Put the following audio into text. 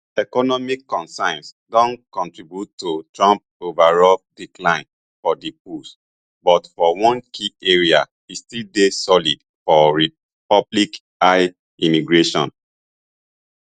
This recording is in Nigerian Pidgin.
economic concerns don contribute to trump overall decline for di polls but for one key area e still dey solid for public eye immigration